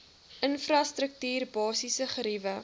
infrastruktuur basiese geriewe